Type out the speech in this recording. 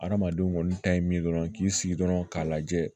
Adamadenw kɔni ta ye min ye dɔrɔn k'i sigi dɔrɔn k'a lajɛ